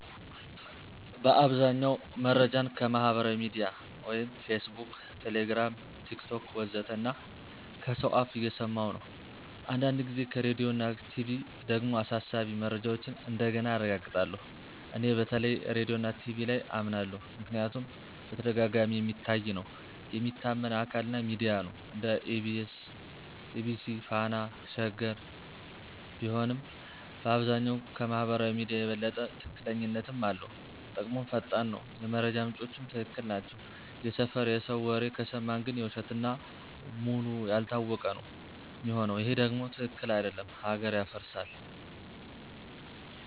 በአብዛኛው መረጃን ከማህበራዊ ሚድያ (Facebook, Telegram, TikTok ወዘተ) እና ከሰው አፍ እየሰማኩ ነው። አንዳንድ ጊዜ ከራዲዮና ቲቪ ደግሞ አሳሳቢ መረጃዎችን እንደገና አረጋግጣለሁ። እኔ በተለይ ራዲዮና ቲቪ ላይ አመናለሁ ምክንያቱም በተደጋጋሚ የሚታይ ነው፣ የሚታመን አካል እና ሚዲያ ነው (እንደ EBC፣ Fana፣ Sheger ቢሆንም)፣ በአብዛኛው ከማህበራዊ ሚዲያ የበለጠ ትክክለኛነትም አለው። ጥቅሙም ፈጣን ነው፣ የመረጃ ምንጮቹም ትክክል ናቸው። የሰፈር የሰው ወሬ ከሰማን ግን የውሸት እና ውሉ ያልታወቀ ነው ሚሆነው ይሄ ደም ትክክል አደለም ሀገር ያፈርሳል።